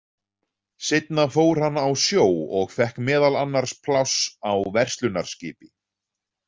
Seinna fór hann á sjó og fékk meðal annars pláss á verslunarskipi.